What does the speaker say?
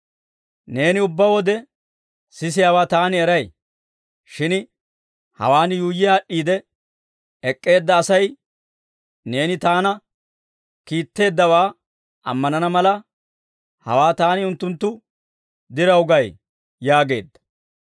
Neeni ubbaa wode sisiyaawaa Taani eray; shin hawaan yuuyyi aad'd'iide ek'k'eedda Asay neeni Taana kiitteeddawaa ammanana mala, hawaa Taani unttunttu diraw gay» yaageedda.